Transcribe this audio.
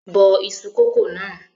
Bọ iṣu kókò náà!